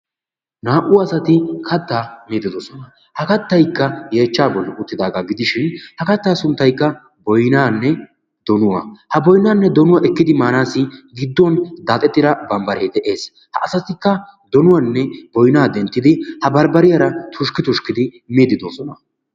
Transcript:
Naa"u asati katta miide doosona. Kattaykka yeechcha bollan uttidaaga gidishin ha katta sunttaykka boynnanne donuwaa. Ha boynnanne donuwa ekkidi maanassi gidduwan daaxettida bambbare de'ees. Ha asatikka boynnanne donuwa denttidi ha barbbariyaara tushkki tushkkidi miide doosona.